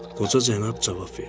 Qoca cənab cavab verdi.